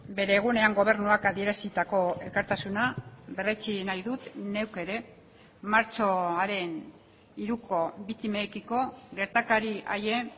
bere egunean gobernuak adierazitako elkartasuna berretsi nahi dut neuk ere martxoaren hiruko biktimekiko gertakari haien